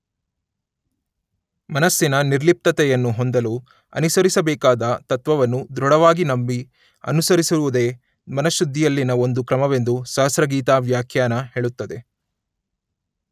ಮನಸ್ಸಿನ ನಿರ್ಲಿಪ್ತತೆಯನ್ನು ಹೊಂದಲು ಅನುಸರಿಸಬೇಕಾದ ತತ್ತ್ವವನ್ನು ದೃಢವಾಗಿ ನಂಬಿ ಅನುಸರಿಸುವುದೆ ಮನಃಶುದ್ಧಿಯಲ್ಲಿನ ಒಂದು ಕ್ರಮವೆಂದು ಸಹಸ್ರಗೀತಾ ವ್ಯಾಖ್ಯಾನ ಹೇಳುತ್ತದೆ